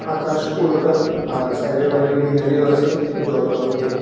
আকাশ পুরোটা আর সাইডে ওয়াইডে ঘিনারীয় আছে জল টল দিয়ে।